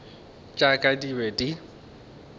tša ka di be di